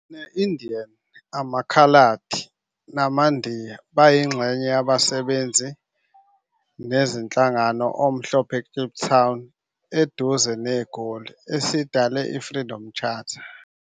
Ne-Indian, amaKhaladi namaNdiya bayingxenye yabasebenzi nezinhlangano omhlophe eKliptown eduze NeGoli, esidale i-Freedom Charter.